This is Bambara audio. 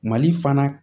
Mali fana